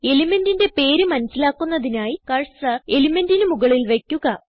elementന്റെ പേര് മനസിലാക്കുന്നതിനായി കർസർ elementന്റിന് മുകളിൽ വയ്ക്കുക